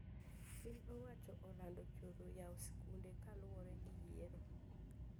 Piny owacho olando choro yao sikunde kaluwore gi yiero